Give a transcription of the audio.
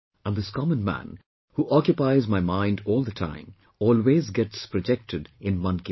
And this common man, who occupies my mind all the time, always gets projected in Mann Ki Baat